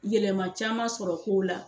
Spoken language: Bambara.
Yɛlɛma caman sɔrɔ kow la.